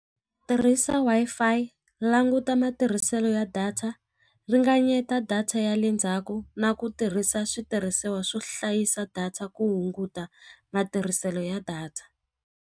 Tirhisa Wi-Fi languta matirhiselo ya data ringanyeta data ya le ndzhaku na ku tirhisa switirhisiwa swo hlayisa data ku hunguta matirhiselo ya data.